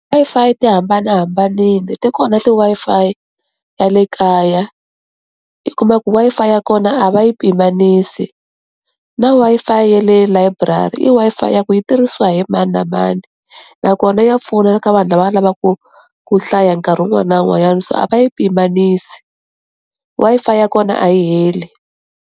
Wi-Fi ti hambanahambanile ti kona ti Wi-Fi ta le kaya i kuma ku Wi-Fi ya kona a va yi pimanisi na Wi-Fi ya le layiburari i Wi-Fi ya ku yi tirhisiwa hi mani na mani nakona ya pfuna ka vanhu lava lavaka ku hlaya nkarhi wun'wana na wun'wanyana, so a va yi pimanisi, Wi-Fi ya kona a yi heli.